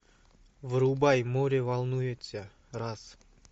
врубай море волнуется раз